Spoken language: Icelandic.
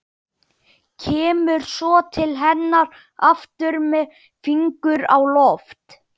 Kemur svo til hennar aftur með fingur á lofti.